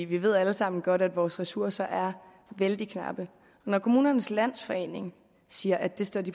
vi ved jo alle sammen godt at vores ressourcer er vældig knappe kommunernes landsforening siger at de står